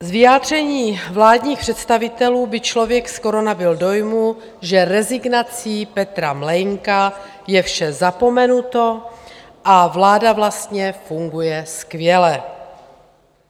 Z vyjádření vládních představitelů by člověk skoro nabyl dojmu, že rezignací Petra Mlejnka je vše zapomenuto a vláda vlastně funguje skvěle.